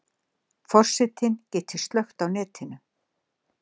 Forsetinn geti slökkt á netinu